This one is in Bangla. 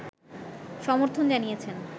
সমর্থন জানিয়েছেন